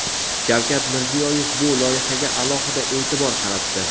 Shavkat Mirziyoyev bu loyihaga alohida e’tibor qaratdi.